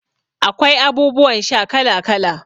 Akwai abubuwan sha kala kala.